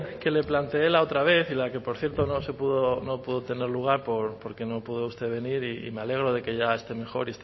que le plantee la otra vez y la que por cierto no se pudo no pudo tener lugar porque no pudo usted venir y me alegro de que ya esté mejor